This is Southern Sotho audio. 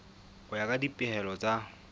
ho ya ka dipehelo tsa